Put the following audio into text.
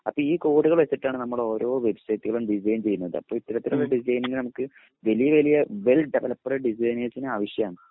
അപ്പൊ ഈ കോഡുകൾ വെച്ചിട്ടാണ് നമ്മൾ ഓരോ വെബ്സൈറ്റുകളും ഡിസൈൻ ചെയ്യുന്നത് അപ്പൊ ഇപ്പോഴത്തെ ഒരു ഡിസൈനിങ് നമുക്ക് വലിയ വലിയ വെൽ ഡെവലപ്പ്ഡ് ഡിസൈനേഴ്സിനെ ആവിശ്യമാണ്